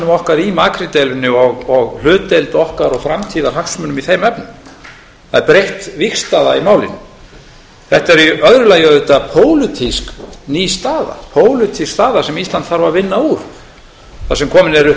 okkar í makríldeilunni og hlutdeild okkar og framtíðarhagsmunum í þeim efnum það er breytt vígstaða í málinu þetta er í öðru lagi auðvitað pólitísk ný staða pólitísk staða þar sem ísland þarf að vinna úr þar sem komin eru upp